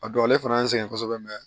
A don ale fana y'an sɛgɛn kosɛbɛ mɛ